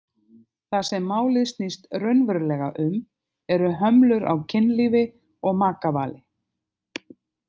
Það sem málið snýst raunverulega um eru hömlur á kynlífi og makavali.